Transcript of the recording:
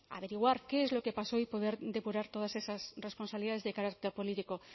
averiguar qué es lo que pasó y poder depurar todas esas responsabilidades de carácter político